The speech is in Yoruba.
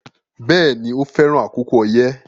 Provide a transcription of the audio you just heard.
Bẹ́ẹ̀ni, o fẹran àkókò oyẹ